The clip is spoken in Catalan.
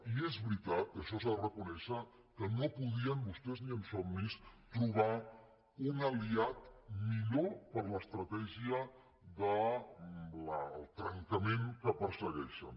i és veritat que això s’ha de reconèixer que no podien vostès ni en somnis trobar un aliat millor per a l’estratègia del trencament que persegueixen